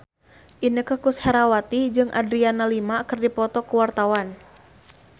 Inneke Koesherawati jeung Adriana Lima keur dipoto ku wartawan